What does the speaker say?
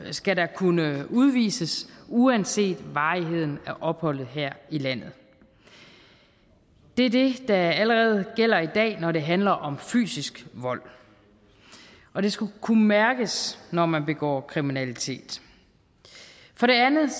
skal der kunne udvises uanset varigheden af opholdet her i landet det er det der allerede gælder i dag når det handler om fysisk vold og det skal kunne mærkes når man begår kriminalitet for det andet